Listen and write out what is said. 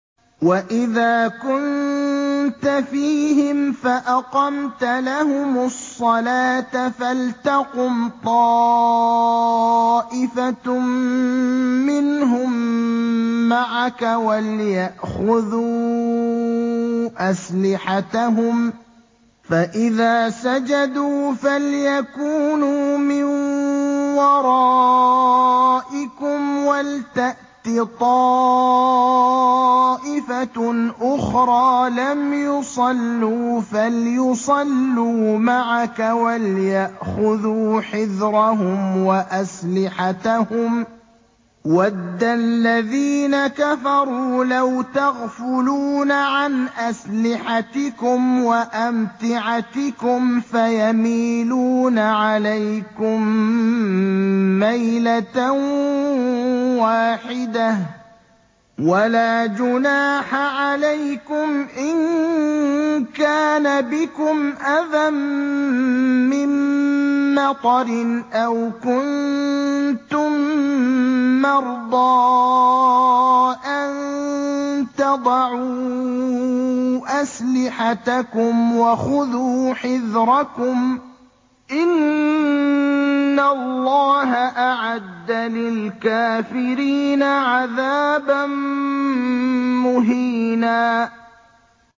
وَإِذَا كُنتَ فِيهِمْ فَأَقَمْتَ لَهُمُ الصَّلَاةَ فَلْتَقُمْ طَائِفَةٌ مِّنْهُم مَّعَكَ وَلْيَأْخُذُوا أَسْلِحَتَهُمْ فَإِذَا سَجَدُوا فَلْيَكُونُوا مِن وَرَائِكُمْ وَلْتَأْتِ طَائِفَةٌ أُخْرَىٰ لَمْ يُصَلُّوا فَلْيُصَلُّوا مَعَكَ وَلْيَأْخُذُوا حِذْرَهُمْ وَأَسْلِحَتَهُمْ ۗ وَدَّ الَّذِينَ كَفَرُوا لَوْ تَغْفُلُونَ عَنْ أَسْلِحَتِكُمْ وَأَمْتِعَتِكُمْ فَيَمِيلُونَ عَلَيْكُم مَّيْلَةً وَاحِدَةً ۚ وَلَا جُنَاحَ عَلَيْكُمْ إِن كَانَ بِكُمْ أَذًى مِّن مَّطَرٍ أَوْ كُنتُم مَّرْضَىٰ أَن تَضَعُوا أَسْلِحَتَكُمْ ۖ وَخُذُوا حِذْرَكُمْ ۗ إِنَّ اللَّهَ أَعَدَّ لِلْكَافِرِينَ عَذَابًا مُّهِينًا